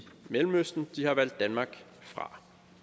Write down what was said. mellemøsten de har valgt danmark fra